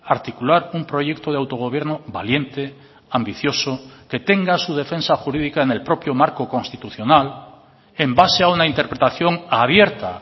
articular un proyecto de autogobierno valiente ambicioso que tenga su defensa jurídica en el propio marco constitucional en base a una interpretación abierta